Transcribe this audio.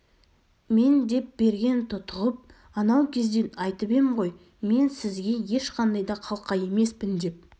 мен деп берген тұтығып анау кезде айтып ем ғой мен сізге ешқандай да қалқа емеспін деп